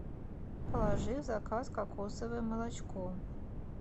положи в заказ кокосовое молочко